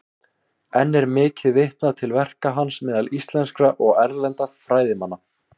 Enn er mikið vitnað til verka hans meðal íslenskra og erlendra fræðimanna.